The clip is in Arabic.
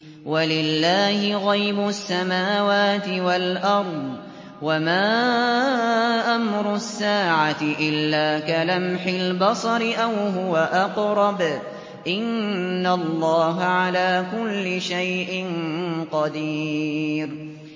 وَلِلَّهِ غَيْبُ السَّمَاوَاتِ وَالْأَرْضِ ۚ وَمَا أَمْرُ السَّاعَةِ إِلَّا كَلَمْحِ الْبَصَرِ أَوْ هُوَ أَقْرَبُ ۚ إِنَّ اللَّهَ عَلَىٰ كُلِّ شَيْءٍ قَدِيرٌ